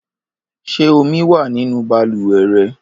Ṣé omi wà nínú balùwẹ̀ rẹ?